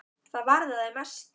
Það varðaði mestu.